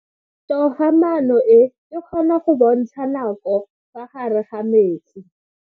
Toga-maano e, e kgona go bontsha nako ka fa gare ga metsi.